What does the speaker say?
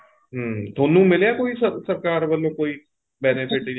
ਹਮ ਤੁਹਾਨੂੰ ਮਿਲਿਆ ਏ ਕੋਈ ਸਰਕਾਰ ਵੱਲੋਂ ਕੋਈ benefit ਜਾਂ